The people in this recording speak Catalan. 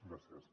gràcies